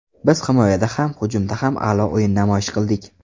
Biz himoyada ham, hujumda ham a’lo o‘yin namoyish qildik.